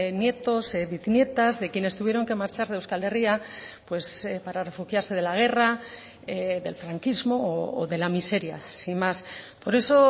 nietos biznietas de quienes tuvieron que marchar de euskal herria para refugiarse de la guerra del franquismo o de la miseria sin más por eso